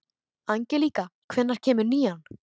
Angelíka, hvenær kemur nían?